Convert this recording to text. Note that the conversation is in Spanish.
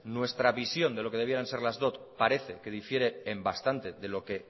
nuestra visión de lo que debieran ser las dot parece que difiere en bastante de lo que